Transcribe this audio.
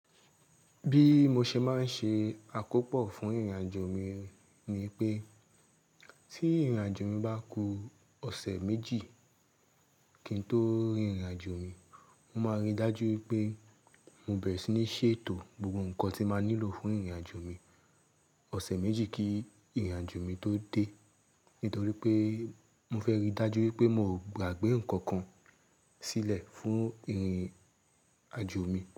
Bí mo ṣe máa ń ṣe àkópò fún ìrìn-àjò mi ni pé tí ìrìn-àjò mi bá ku ọ̀sẹ̀ méjì kí n tó rin ìrìn-àjò mi, mo máa rí i dájú pé mo bẹ̀rẹ̀ sí ní ṣètò gbogbo nǹkan tí màá nílò fún ìrìn-àjò mi ọ̀sẹ̀ méjì kí ìrìn-àjò mi tó dé. Nítorí pé mo fẹ́ rí i dájú pé mo ò gbàgbé nǹkan kan sílẹ̀ fún ìrìn-àjò mi.